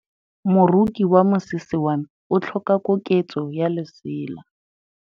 Moroki wa mosese wa me o tlhoka koketsô ya lesela.